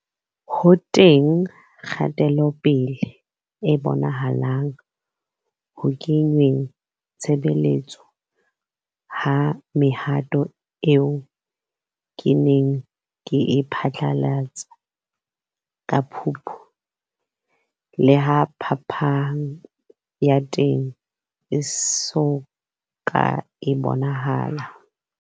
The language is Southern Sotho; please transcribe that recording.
Ho teng kgatelopele e bonahalang ho kengweng tshebetsong ha mehato eo ke neng ke e phatlalatse ka Phupu, leha phapang ya teng e so ka e bonahala.